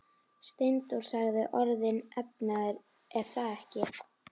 Steindór sagði: Orðinn efnaður, er það ekki?